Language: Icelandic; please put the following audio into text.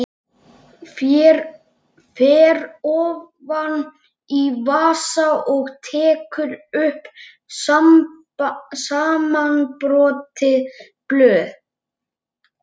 Fer ofan í vasa og tekur upp samanbrotin blöð.